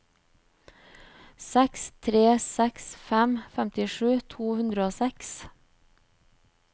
seks tre seks fem femtisju to hundre og seks